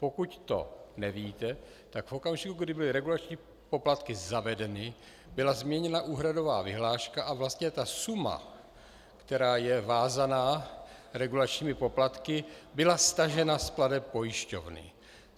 Pokud to nevíte, tak v okamžiku, kdy byly regulační poplatky zavedeny, byla změněna úhradová vyhláška a vlastně ta suma, která je vázaná regulačními poplatky, byla stažena z plateb pojišťovny.